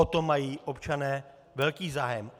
O to mají občané velký zájem.